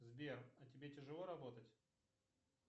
сбер а тебе тяжело работать